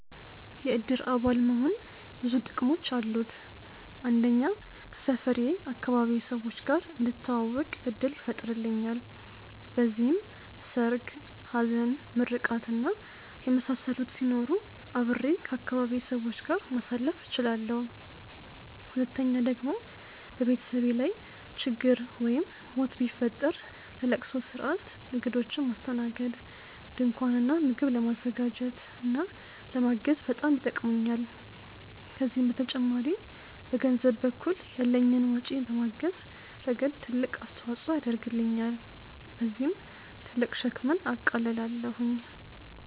የእድር አባል መሆን ብዙ ጥቅሞች አሉት። አንደኛ ከሰፈሬ/ አካባቢዬ ሰዎች ጋር እንድተዋወቅ እድል ይፈጥርልኛል። በዚህም ሰርግ፣ ሀዘን፣ ምርቃት እና የመሳሰሉት ሲኖሩ አብሬ ከአካባቢዬ ሰዎች ጋር ማሳለፍ እችላለሁ። ሁለተኛ ደግሞ በቤተሰቤ ላይ ችግር ወይም ሞት ቢፈጠር ለለቅሶ ስርአት፣ እግዶችን ለማስተናገድ፣ ድንኳን እና ምግብ ለማዘጋጀት እና ለማገዝ በጣም ይጠቅሙኛል። ከዚህም በተጨማሪ በገንዘብ በኩል ያለኝን ወጪ በማገዝ ረገድ ትልቅ አስተዋፅኦ ያደርግልኛል። በዚህም ትልቅ ሸክምን አቃልላለሁኝ።